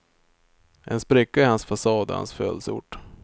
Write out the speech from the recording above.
En spricka i hans fasad är hans födelseort.